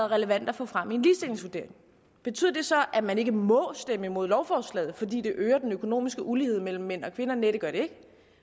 relevant at få frem i en ligestillingsvurdering betyder det så at man ikke må stemme imod lovforslaget fordi det øger den økonomiske ulighed mellem mænd og kvinder nej det gør det